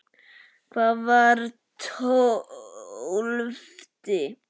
Hvað var tólfti?